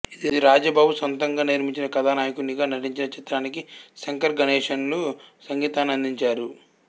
ఇది రాజబాబు సొంతంగా నిర్మించి కథానాయకునిగా నటించిన చిత్రానికి శంకర్గణేష్ లు సంగీతాన్నందించారు